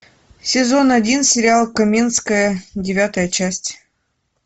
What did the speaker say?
сезон один сериал каменская девятая часть